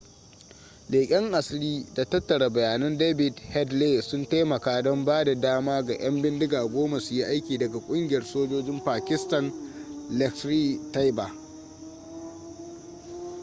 leƙen asiri da tattara bayannan david headley sun taimaka don ba da dama ga 'yan bindiga 10 su yi aiki daga kungiyar sojojin pakistan laskhar-e-taiba